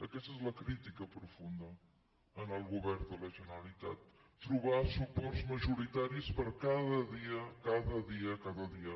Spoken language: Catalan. aquesta és la crítica profunda al govern de la generalitat trobar suports majoritaris per a cada dia cada dia cada dia